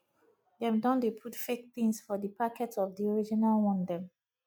dem don dey put fake tins for di packet of di original one dem